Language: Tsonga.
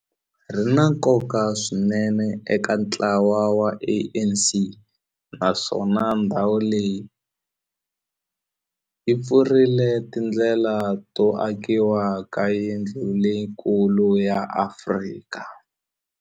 Ri na nkoka swinene eka ntlawa wa ANC, naswona ndhawu leyi yi pfurile tindlela to akiwa ka yindlu leyikulu ya Afrika.